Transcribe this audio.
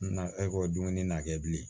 Na ekɔli dumuni na kɛ bilen